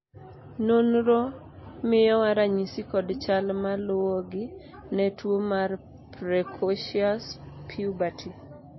nonro miyowa ranyisi kod chal maluwogi ne tuo mar precocious puberty